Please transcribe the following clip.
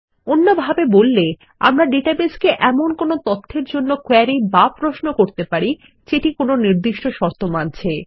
অন্য ভাবে বললে আমরা ডাটাবেসকে এমন কোনো তথ্যের জন্য কোয়েরি বা প্রশ্ন করতে পারি যেটি কোনো নির্দিষ্ট শর্ত মানছে